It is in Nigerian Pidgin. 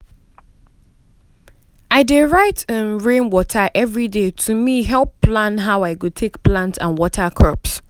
i dey write um rain matter every day to me help plan how i go take plant and water crops.